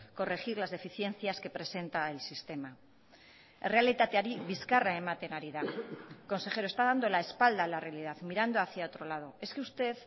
corregir las deficiencias que presenta el sistema errealitateari bizkarra ematen ari da consejero está dando la espalda a la realidad mirando hacia otro lado es que usted